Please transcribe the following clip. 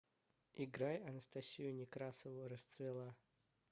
играй анастасию некрасову расцвела